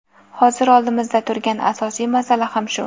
Hozir oldimizda turgan asosiy masala ham shu.